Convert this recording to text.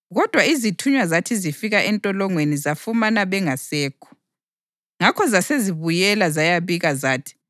kodwa izithunywa zathi zifika entolongweni zafumana bengasekho. Ngakho zasezibuyela zayabika zathi,